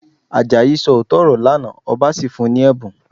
Àjàyí sọ òótọ́ ọ̀rọ̀ lánàá, ọba sì fún un ní ẹ̀bùn